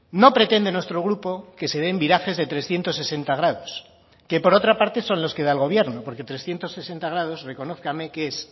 no pretende nuestro grupo que se den virajes de trescientos sesenta grados que por otra parte son los que da el gobierno porque trescientos sesenta grados reconózcame que es